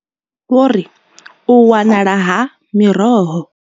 Vho ri, U wanala ha miroho.